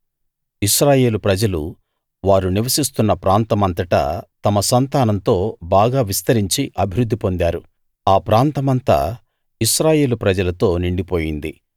ఇశ్రాయేలు ప్రజలు వారు నివసిస్తున్న ప్రాంతమంతటా తమ సంతానంతో బాగా విస్తరించి అభివృద్ధి పొందారు ఆ ప్రాంతమంతా ఇశ్రాయేలు ప్రజలతో నిండిపోయింది